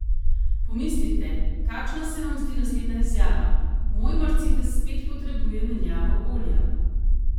Pomislite, kakšna se vam zdi naslednja izjava: 'Moj mercedes spet potrebuje menjavo olja.